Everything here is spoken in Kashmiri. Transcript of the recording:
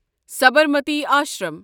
سبرمتی آشرم